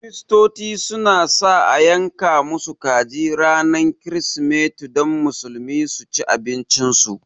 Kirsitoci su na sa a yanka musu kaji ranar kirismeti don Musulmi su ci abincin su